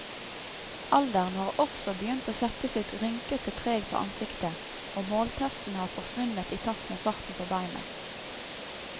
Alderen har også begynt å sette sitt rynkete preg på ansiktet, og målteften har forsvunnet i takt med farten på beina.